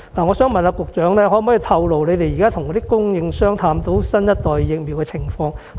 "我想問局長，可否透露政府與供應商探討新一代疫苗的情況？